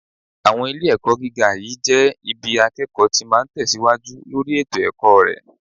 Àwọn ilé-ẹ̀kọ́ gíga yìí jẹ́ ibi akẹ́kọ̀ọ́ ma ti ń tẹ̀síwájú lórí ètò ẹ̀kọ́ rẹ̀